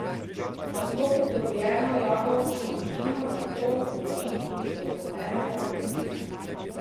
Tako pridobljeno jabolčno vino nato zori tudi do enega meseca.